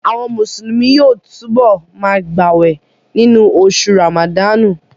Àwọn Mùsùlùmí yóò túbọ̀ ma gbàwè nínú oṣù Ràmàdánù